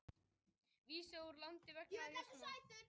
Vísað úr landi vegna njósna